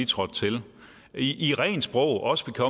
trådt til i rent sprog også